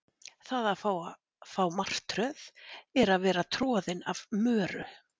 Það að fá martröð er að vera troðin af möru.